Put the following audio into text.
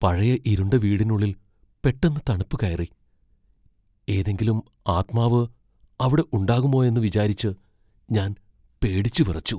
പഴയ ഇരുണ്ട വീടിനുള്ളിൽ പെട്ടെന്ന് തണുപ്പ് കയറി , ഏതെങ്കിലും ആത്മാവ് അവിടെ ഉണ്ടാകുമോയെന്ന് വിചാരിച്ച് ഞാൻ പേടിച്ചുവിറച്ചു.